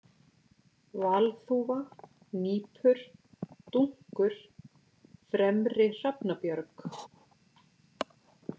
Valþúfa, Nýpur, Dunkur, Fremri-Hrafnabjörg